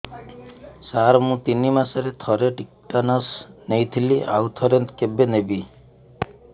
ସାର ମୁଁ ତିନି ମାସରେ ଥରେ ଟିଟାନସ ନେଇଥିଲି ଆଉ ଥରେ କେବେ ନେବି